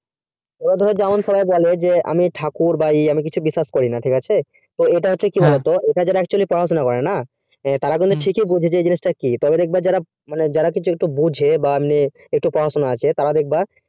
যেমন সবাই লোকে বলে আমি ঠাকুর ইয়া বিশ্বাস করিনা ঠিক আছে এইটা actually পড়াশোনা করেনা তারা বলে ঠিকই বলেছো যারা কিছু একটা বোঝে যারা একটু পড়াশোনা করেনা